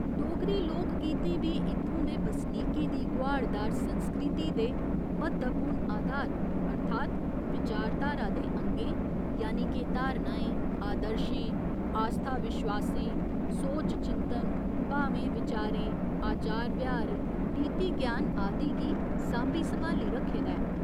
डोगरी लोक गीतें बी इत्थूं दे बसनीकें दी गोहाड़दार संस्कृति दे म्हत्तवपूर्ण आधार अर्थात् विचारधारा दे अंगें यानि के धारणाएं, आदर्शें, आस्था विश्वासें, सोच चिंतन, भावें विचारें, आचार व्यहार, नीति ज्ञान आदि गी सांभी सम्हाली रक्खे दा ऐ।